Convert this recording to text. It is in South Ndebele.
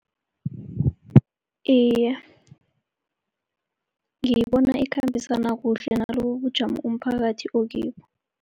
Iye, ngiyibona ikhambisana kuhle nalobu ubujamo umphakathi okibo.